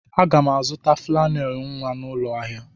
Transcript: Aga m azụta flannel nwa n'ụlọ ahịa.